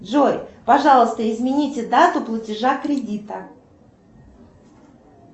джой пожалуйста измените дату платежа кредита